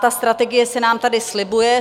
Ta strategie se nám tady slibuje.